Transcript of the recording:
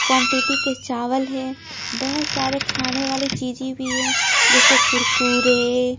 quantity के चावल है बहुत सारे खाने वाले चीजें भी है जैसे कुरकुरे--